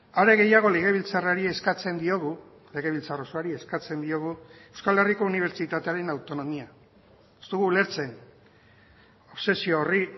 are gehiago legebiltzarrari eskatzen diogu legebiltzar osoari eskatzen diogu euskal herriko unibertsitatearen autonomia ez dugu ulertzen obsesio horri